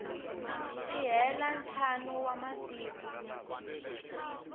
si hela ntlhanu wa masiku